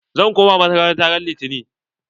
Zaka koma makaranta ran litani!